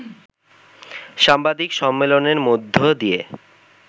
সাংবাদিক সম্মেলনের মধ্য দিয়ে